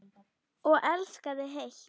Og elskaði heitt.